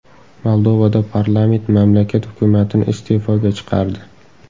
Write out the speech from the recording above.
Moldovada parlament mamlakat hukumatini iste’foga chiqardi.